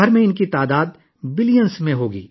ان کی تعداد ملک بھر میں اربوں میں ہوگی